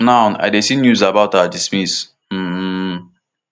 now i dey see news about her demise um